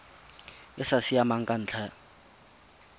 e sa siamang ka ntlha